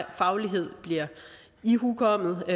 faglighed bliver ihukommet og